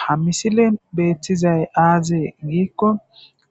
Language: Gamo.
Ha misilen beettizay aazee giikko